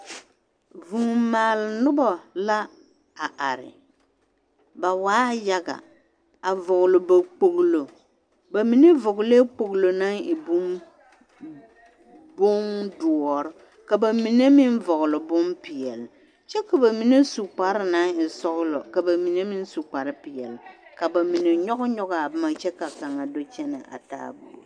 Vuu maal nobɔ la a are ba waaɛ yaga a vɔgle ba kpoglo ba mine vɔglɛɛ kpoglo naŋ e bomdoɔre ka ba mine meŋ vɔgle bompeɛli kyɛ ka ba mine su kparre naŋ e sɔglɔ ka ba mine meŋ su kparrepeɛli ka ba mine nyɔgnyɔgaa a boma kyɛ ka kaŋ do kyɛnɛ a taaɛ buɔ.